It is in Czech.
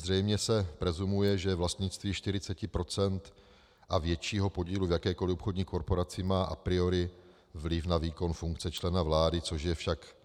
Zřejmě se presumuje, že vlastnictví 40 % a většího podílu v jakékoli obchodní korporaci má a priori vliv na výkon funkce člena vlády, což je však